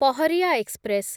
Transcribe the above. Paharia express